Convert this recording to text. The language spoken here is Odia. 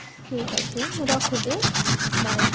ଠିକ ଅଛି ମୁଁ ରଖୁଛି bye